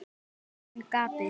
Hann gapir.